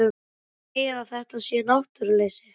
Hann segir að þetta sé náttúruleysi.